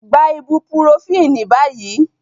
Take the ibuprofen now